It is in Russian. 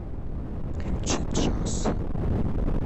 включи джаз